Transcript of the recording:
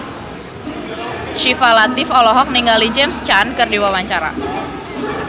Syifa Latief olohok ningali James Caan keur diwawancara